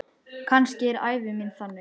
Kannski er ævi mín þannig.